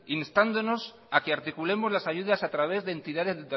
instándonos a que articulemos las ayudas a través de entidades